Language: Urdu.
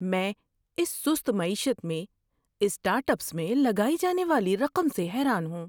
میں اس سست معیشت میں اسٹارٹ اپس میں لگائی جانے والی رقم سے حیران ہوں۔